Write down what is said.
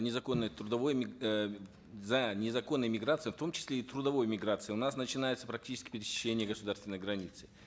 незаконной трудовой э за незаконной миграцией в том числе и трудовой миграцией у нас начинается практически с пересечения государственной границы